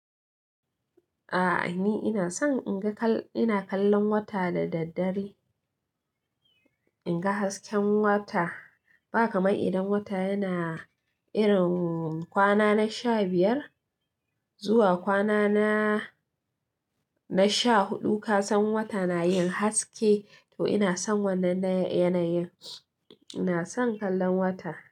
A'a ni ina son in ga ina kallon wata da daddare, in ga hasken wata. Ba kamar idan wata yana irin kwana na sha biyar zuwa kwana na, na sha huɗu ka san wata na yin haske to ina son wannan na yanayin. Ina son kallon wata.